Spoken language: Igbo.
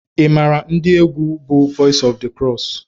ị maara ndị egwu bú Voice of the Cross?